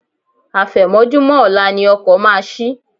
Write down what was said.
Àfẹ̀mọ́júmọ́ ọ̀la ni ọkọ̀ máa ṣí.